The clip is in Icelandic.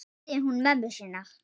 spurði hún mömmu sína.